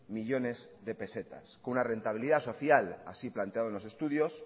millónes de pesetas una rentabilidad social así planteado en los estudios